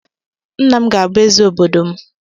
Nna m ga abụ eze obodo m